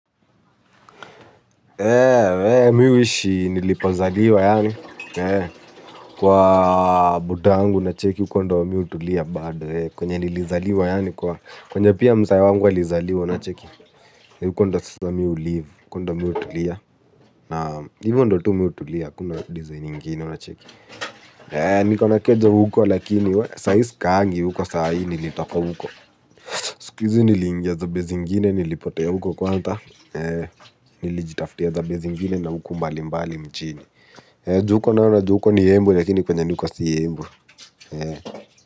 Mi huishi nilipozaliwa yaani kwa buda angu nacheki huko ndo mi hutulia bado kwenye nilizaliwa yaani kwenye pia mzae wangu alizaliwa unacheki. Huko ndo sasa mimi u live huko ndo mi hutulia na hivyo ndo tu mi hutulia hakuna design ngine unacheki. Niko na keja huko lakini we sai sikaangi huko sai nilitoka huko. Sikuhizi niliingia za base ingine nilipotea huko kwanza. Nilijitaftia za base ingine na huko mbali mbali mjini. Juu huko nao unaju huko ni embu lakini kwenye niko si embu.